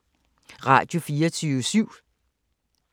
Radio24syv